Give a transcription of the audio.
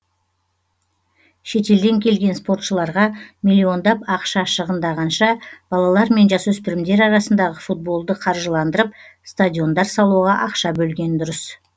шетелден келген спортшыларға миллиондап ақша шығынданғанша балалар мен жасөспірімдер арасындағы футболды қаржыландырып стадиондар салуға ақша бөлген дұрыс